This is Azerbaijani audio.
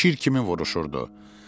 O şir kimi vuruşurdu.